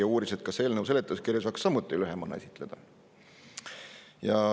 Ta uuris, kas eelnõu seletuskirja saaks samuti lühemana esitada.